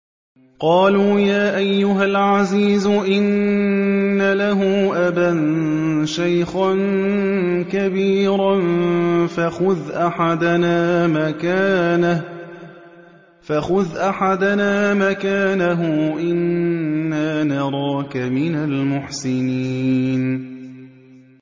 قَالُوا يَا أَيُّهَا الْعَزِيزُ إِنَّ لَهُ أَبًا شَيْخًا كَبِيرًا فَخُذْ أَحَدَنَا مَكَانَهُ ۖ إِنَّا نَرَاكَ مِنَ الْمُحْسِنِينَ